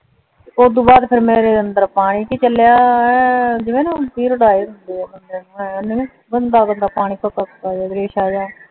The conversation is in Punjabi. ਉਦੋਂ ਬਾਅਦ ਫੇਰ ਮੇਰੇ ਅੰਦਰ ਪਾਣੀ ਏ ਚਲਿਆ ਜਿਵੇਂ ਨਾ ਪੀਰਿਯਡ ਆਏ ਹੁੰਦੇ ਆ ਗੰਦਾ ਗੰਦਾ ਪਾਣੀ ਸੁੱਕਾ ਜੀਅ ਰੇਸ਼ਾ ਜੀਅ